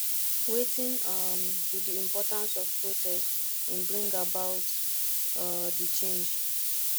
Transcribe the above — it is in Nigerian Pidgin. wetin um be di importance of protest in bring about um di change